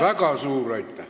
Väga suur aitäh!